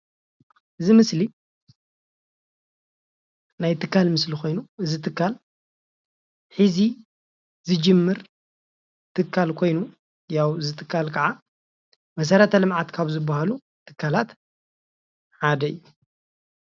እዚ ምስሊ ናይ ትካል ምስሊ ኾይኑ ፤ እዚ ትካል ሐዚ ዝጅምር ትካል ኾይኑ እዚ ትካል ከዓ መሰረት ልምዓት ካብ ዝበሃሉ ትካላት ሓደ እዩ።